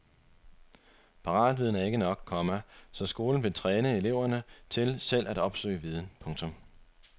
Paratviden er ikke nok, komma så skolen vil træne eleverne til selv at opsøge viden. punktum